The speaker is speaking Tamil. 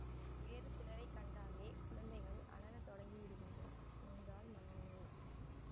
வேறு சிலரை கண்டாலே குழந்தைகள் அலறத் தொடங்கி விடுகின்றன என்றாள் மனோன்மணி